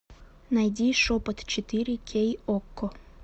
найди шепот четыре кей окко